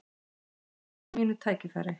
Bíð eftir mínu tækifæri